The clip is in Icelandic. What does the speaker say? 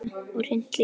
Og hreint líka!